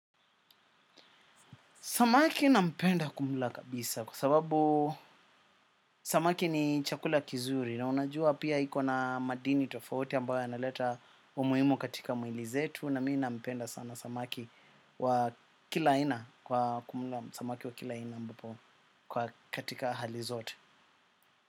Samaki nampenda kumla kabisa kwa sababu samaki ni chakula kizuri na unajua pia hiko na madini tofauti ambayo yanaleta umuimu katika muili zetu na mii nampenda sana samaki wa kila aina kwa kumula samaki wa kila aina ambapo katika hali zote.